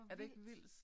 Er det ikke vildt?